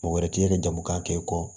Mɔgɔ wɛrɛ t'i yɛrɛ jago k'a kɛ i kɔ